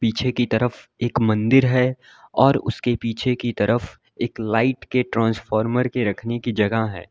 पीछे की तरफ एक मंदिर है और उसके पीछे की तरफ एक लाइट के ट्रांसफार्मर के रखने की जगह है।